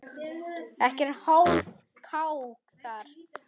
Ekkert hálfkák þar.